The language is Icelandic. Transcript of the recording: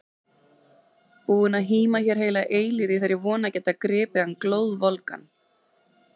Búin að híma hér heila eilífð í þeirri von að geta gripið hann glóðvolgan!